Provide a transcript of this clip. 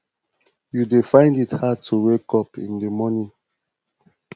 you dey find it hard to wake up in di morning